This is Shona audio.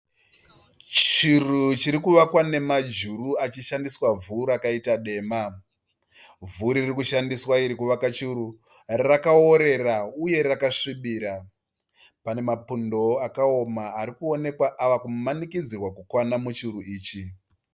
Chiru chirikuvakwa nemajuru achishandisa vhu rwakaita dema. Vhu ririkushandiswa iri kuwaka churu rakaorera uye akasvibira. Pane mapundo akaoma arikuonekwa akumanikidzwa kuwana kupinda muchuru ichi